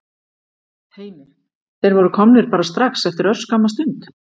Heimir: Þeir voru komnir bara strax eftir örskamma stund?